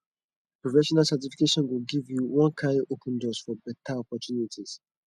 professional certification go give you one kyn open doors for beta opportunities